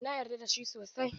Na yarda da shi sosai.